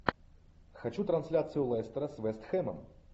хочу трансляцию лестера с вест хэмом